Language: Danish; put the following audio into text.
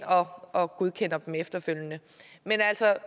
og godkender dem efterfølgende men